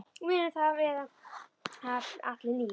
Við munum það vel allir níu.